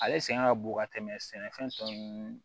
Ale sɛgɛn ka bon ka tɛmɛ sɛnɛfɛn tɔ ninnu